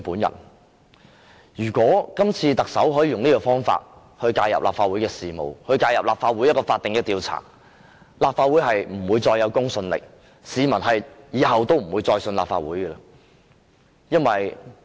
如果特首可以用這種方法介入立法會的事務，介入立法會一項法定的調查，立法會便不會再有公信力，市民以後再不會相信立法會。